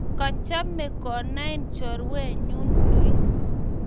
Kachame konain chorwenyu Luis